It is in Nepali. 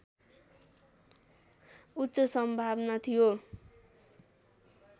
उच्च सम्भावना थियो